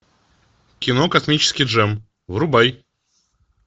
кино космический джем врубай